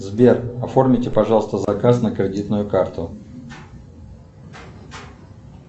сбер оформите пожалуйста заказ на кредитную карту